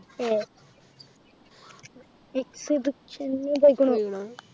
എഹ് exhibition പോയിക്ണു